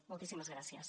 moltíssimes gràcies